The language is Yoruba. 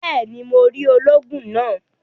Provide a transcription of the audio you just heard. Béèni, Mó rí olóògùn náà